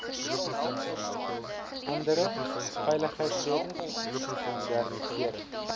andere veiligheidsredes modernisering